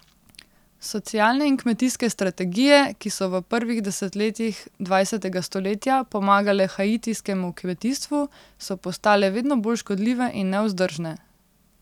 Socialne in kmetijske strategije, ki so v prvih desetletjih dvajsetega stoletja pomagale haitijskemu kmetijstvu, so postale vedno bolj škodljive in nevzdržne.